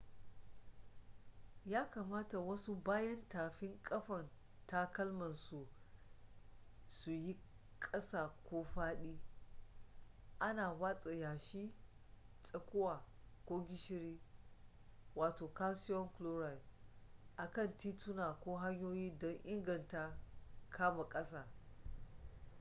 ya kamata wasu bayan tafin kafan takalma su yi kasa ko faɗi. ana watsa yashi tsakuwa ko gishiri calcium chloride a kan tituna ko hanyoyi don inganta kama ƙasa